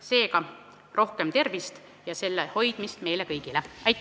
Seega, rohkem tervist ja selle hoidmist meile kõigile!